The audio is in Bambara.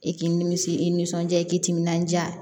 I k'i nimisi i nisɔnja i k'i timinandiya